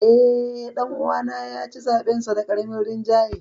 Eh, dan uwana ya ci zaɓensa da karamin rinjaye.